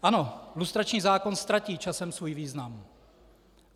Ano, lustrační zákon ztratí časem svůj význam.